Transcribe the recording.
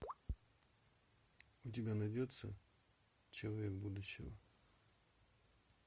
у тебя найдется человек будущего